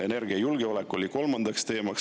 Energiajulgeolek oli kolmas teema.